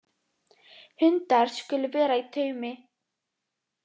Hundar skulu vera í taumi